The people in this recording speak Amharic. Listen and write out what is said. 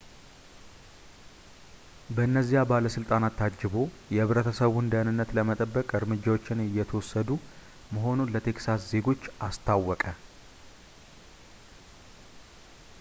በነዚያ ባለሥልጣናት ታጅቦ የህብረተሰቡን ደህንነት ለመጠበቅ እርምጃዎች እየተወሰዱ መሆኑን ለቴክሳስ ዜጎች አስታወቀ